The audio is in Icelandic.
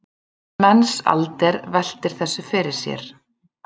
Mensalder veltir þessu fyrir sér.